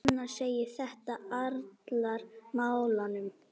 Fannar segir þetta alranga nálgun.